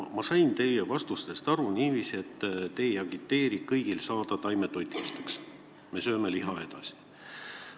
Ma sain teie vastustest aru niiviisi, et te ei agiteeri kõiki taimetoitlaseks saama, me sööme liha edasi.